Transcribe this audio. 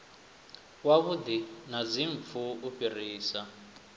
wavhuḓi na dzimpfu u fhirisa